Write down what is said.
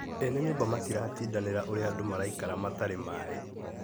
Ene nyũmba matiratindanĩra ũrĩa andũ maraikara matarĩ maĩ